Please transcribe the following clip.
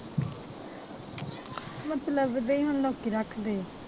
ਮਤਲਬ ਦੇ ਹੀ ਹੁਣ ਲੋਕੀ ਰੱਖਦੇ ਹੈ